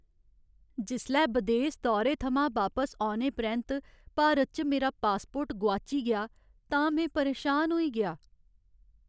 जिसलै बदेस दौरे थमां बापस औने परैंत्त भारत च मेरा पासपोर्ट गोआची गेआ तां में परेशान होई गेआ।